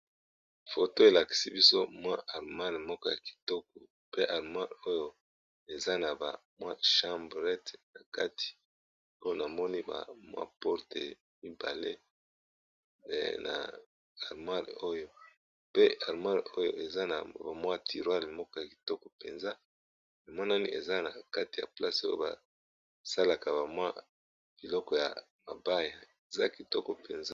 Foto elakisi biso mwa armoire moko ya kitoko pe armoire oyo eza na bamwa chambret na kati pona moni bamwa porte mibale na armoire oyo pe armoire oyo eza na bamwa tirware moko ya kitoko mpenza emonani eza na kati ya place oyo basalaka bamwa biloko ya mabaya eza kitoko mpenza.